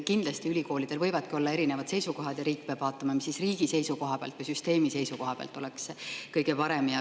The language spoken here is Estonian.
Kindlasti võivad ülikoolidel olla erinevad seisukohad ja riik peab vaatama, mis oleks siis riigi või süsteemi seisukohalt kõige parem.